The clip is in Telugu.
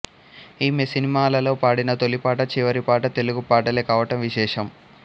ఈమె సినిమాలలో పాడిన తొలిపాట చివరి పాట తెలుగు పాటలే కావటం విశేషం